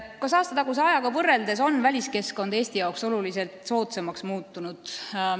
Kas aastataguse ajaga võrreldes on väliskeskkond Eesti jaoks oluliselt soodsamaks muutunud?